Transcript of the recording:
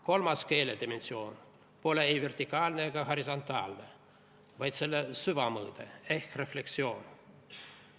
Kolmas keele dimensioon pole ei vertikaalne ega horisontaalne, vaid selle süvamõõde ehk refleksioon.